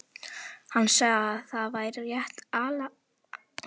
Hann sagði að það væri rétt ályktað.